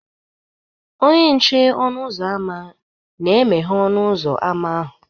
Onye nche ọnụ ụzọ ámá na-emeghe ọnụ ụzọ ámá ahụ